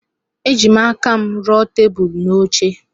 Ejim aka m ruo tebụl na oche.